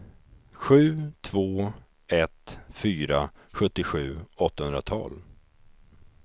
sju två ett fyra sjuttiosju åttahundratolv